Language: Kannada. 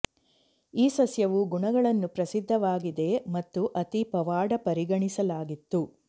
ಈ ಸಸ್ಯವು ಗುಣಗಳನ್ನು ಪ್ರಸಿದ್ಧವಾಗಿದೆ ಮತ್ತು ಅತಿ ಪವಾಡ ಪರಿಗಣಿಸಲಾಗಿತ್ತು